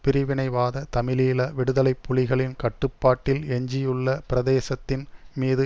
பிரிவினைவாத தமிழீழ விடுதலை புலிகளின் கட்டுப்பாட்டில் எஞ்சியுள்ள பிரதேசத்தின் மீது